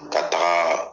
Ka taga